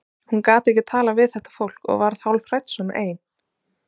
Hún gat ekki talað við þetta fólk og varð hálfhrædd svona ein.